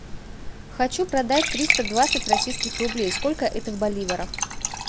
хочу продать триста двадцать российских рублей сколько это в боливарах